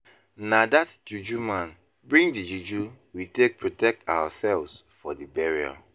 Na dat juju man bring the juju we take protect ourselves for the burial.